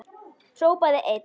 Hrópaði einn: